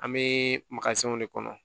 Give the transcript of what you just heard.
An bɛ de kɔnɔ